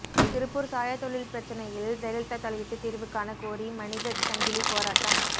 திருப்பூர் சாயத் தொழில் பிரச்னையில் ஜெயலலிதா தலையிட்டு தீர்வு காண கோரி மனித சங்கிலி போராட்டம்